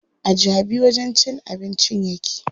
A Jabi wajen cin abincin yake.